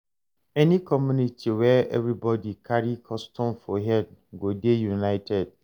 Any community where everybodi carry custom for head go dey united.